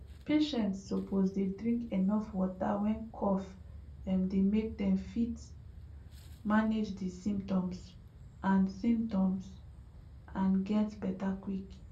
patients suppose dey drink enuf water when cough um dey make dem fit manage di symptoms and symptoms and get beta quick